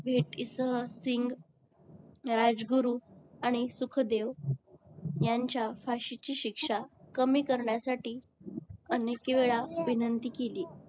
भेटीसह सिंग राजगुरू आणि सुखदेव यांच्या फाशीची शिक्षा कमी करण्यासाठी अनेकवेळा विनंती केली.